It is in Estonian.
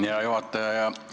Hea juhataja!